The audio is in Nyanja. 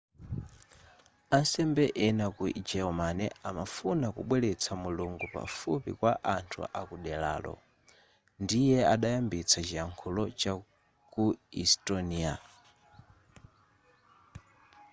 asembe ena ku germany amafuna kubweretsa mulungu pafupi kwa anthu akuderaro ndiye adayambitsa chiyakhulo chaku estonia